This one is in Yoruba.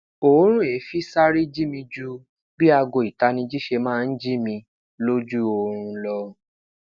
oorun eefin sare ji mi ju bi aago itaniji ṣe maa n ji mi loju oorun lọ